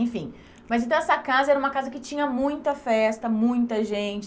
Enfim, mas então essa casa era uma casa que tinha muita festa, muita gente.